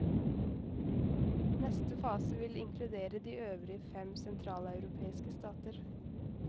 Neste fase vil inkludere de øvrige fem sentraleuropeiske stater.